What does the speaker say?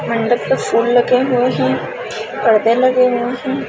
मंडप पे फूल लगे हुए है पर्दे लगे हुए हैं |